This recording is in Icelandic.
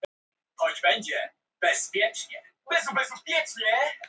Friðrik ákvað að þeir skyldu flýta för sinni frá Íslandi og fljúga til